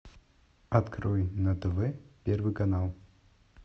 открой на тв первый канал